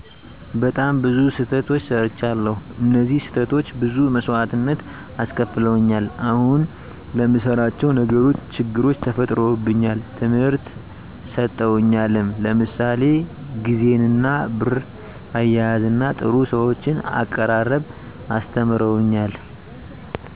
በጣም ብዙ ስተቶች ሰርቻለዉ እነዚህ ስህተቶች ብዙ መሰዋእትነት አስከፍለውኛል አሁን ለምንሰራቸው ነገሮች ችግሮች ተፈጥሮብኛል ትምህርት ሰጠውኛልም ለምሳሌ ግዜንና ብር አያያዝና ጥሩ ሰዎችን አቀራረብ አስተምረውኛል